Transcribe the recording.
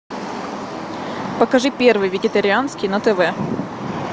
покажи первый вегетарианский на тв